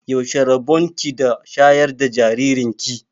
Yaushe rabon ki da shayar da jaririn ki?